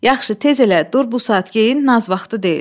Yaxşı, tez elə, dur bu saat geyin, naz vaxtı deyil.